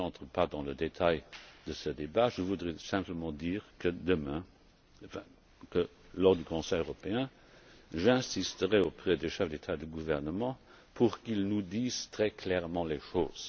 pays. Je n'entre pas dans le détail de ce débat, je souhaiterais simplement dire que, lors du Conseil européen, j'insisterai auprès des chefs d'État et de gouvernement pour qu'ils nous disent très clairement les